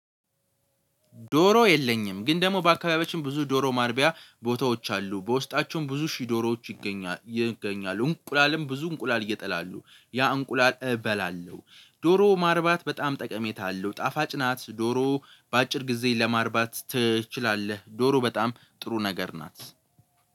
ዶሮ የለኝም። ግን ደግሞ በአካባቢያችን ብዙ ዶሮ ማርቢያ ቦታዎች አሉ በውስጣቸውም ብዙ ሺህ ዶሮዎች ይገኛሉ እንቁላልም ብዙ እንቁላል ይጥላሉ ያ እንቁላል እበላለሁ። ዶሮ ማርባት በጣም ጠቀሜታ አለው። ጣፋጭ ናት ዶሮ በአጭር ጊዜ ለማርባት ትችላለህ። ዶሮ በጣም ጥሩ ነገር ናት።